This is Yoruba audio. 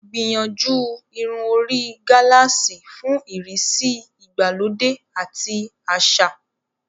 Gbìyànjú irun orí gálààsì fún ìrísí ìgbàlódé àti àṣà.